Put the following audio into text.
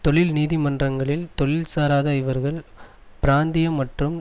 தொழில் நீதி மன்றங்களில் தொழில் சாராத இவர்கள் பிராந்திய மற்றும்